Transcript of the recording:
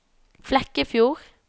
Flekkefjord